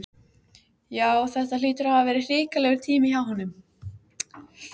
Já, þetta hlýtur að hafa verið hrikalegur tími hjá honum.